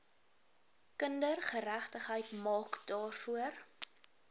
kindergeregtigheid maak daarvoor